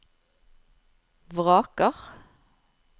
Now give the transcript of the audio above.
vraker